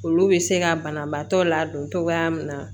Olu bɛ se ka banabaatɔ ladon cogoya min na